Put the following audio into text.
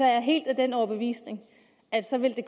jeg helt af den overbevisning at så ville det